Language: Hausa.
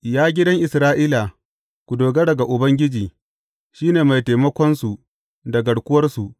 Ya gidan Isra’ila, ku dogara ga Ubangiji, shi ne mai taimakonsu da garkuwarsu.